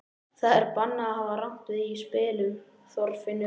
Það er bannað að hafa rangt við í spilum, Þorfinnur.